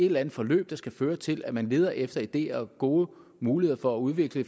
eller andet forløb der skal føre til at man leder efter ideer og gode muligheder for at udvikle